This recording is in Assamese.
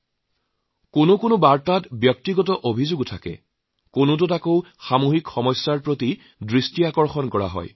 বহুতো চৰকাৰৰ সংশোধনৰ বাবে থাকে কেতিয়াবা ব্যক্তিগত অভিযোগো থাকে আকৌ কেতিয়াবা সামগ্ৰিক সমস্যাৰ প্ৰতি মনোযোগ আকৰ্ষণ কৰা হয়